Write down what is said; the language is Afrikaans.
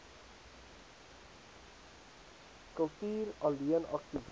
kultuur alleen aktief